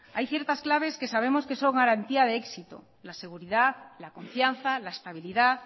hay ciertas claves que sabemos que son garantía de éxito la seguridad la confianza la estabilidad